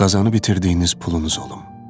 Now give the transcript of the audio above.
Qazanıb itirdiyiniz pulunuz olum.